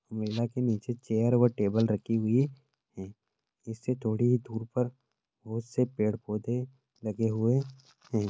Umbrella के नीचे chair व टेबल रखी हुई है इसके थोड़ी ही दूर पर बहुत से पेड़-पौधे लगे हुए है।